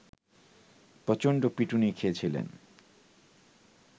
প্রচন্ড পিটুনি খেয়েছিলেন